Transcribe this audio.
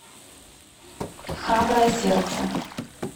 храброе сердце